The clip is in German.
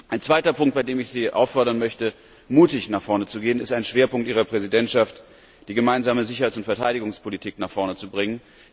Ein zweiter Punkt, bei dem ich Sie auffordern möchte, mutig vorwärts zu schreiten, ist ein Schwerpunkt Ihrer Präsidentschaft die Gemeinsame Sicherheits und Verteidigungspolitik voranzubringen.